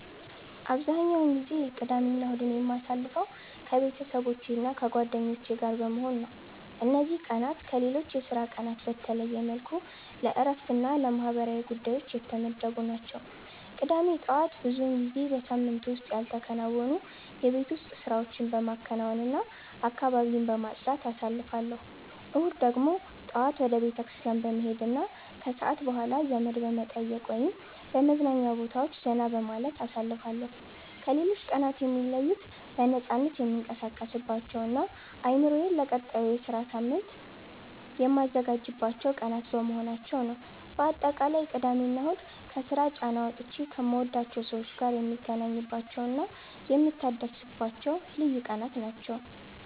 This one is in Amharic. አብዛኛውን ጊዜ ቅዳሜና እሁድን የማሳልፈው ከቤተሰቦቼና ከጓደኞቼ ጋር በመሆን ነው። እነዚህ ቀናት ከሌሎች የሥራ ቀናት በተለየ መልኩ ለእረፍትና ለማህበራዊ ጉዳዮች የተመደቡ ናቸው። ቅዳሜ ጠዋት ብዙውን ጊዜ በሳምንቱ ውስጥ ያልተከናወኑ የቤት ውስጥ ስራዎችን በማከናወንና አካባቢን በማጽዳት አሳልፋለሁ። እሁድ ደግሞ ጠዋት ወደ ቤተክርስቲያን በመሄድና ከሰዓት በኋላ ዘመድ በመጠየቅ ወይም በመዝናኛ ቦታዎች ዘና በማለት አሳልፋለሁ። ከሌሎች ቀናት የሚለዩት በነፃነት የምንቀሳቀስባቸውና አእምሮዬን ለቀጣዩ ሳምንት ሥራ የማዘጋጅባቸው ቀናት በመሆናቸው ነው። ባጠቃላይ ቅዳሜና እሁድ ከስራ ጫና ወጥቼ ከምወዳቸው ሰዎች ጋር የምገናኝባቸውና የምታደስባቸው ልዩ ቀናት ናቸው።